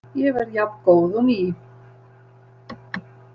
Ég verð jafngóð og ný.